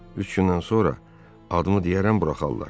Üç gündən sonra adımı deyərəm, buraxarlar.